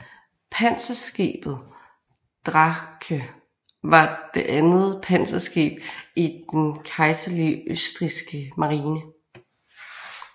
Panserskibet Drache var det andet panserskib i den kejserlige østrigske marine